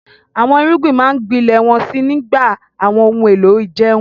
Àwọn irúgbìn máa ń gbilẹ̀ wọ́n sì ń gba àwọn ohun èlò ìjẹun.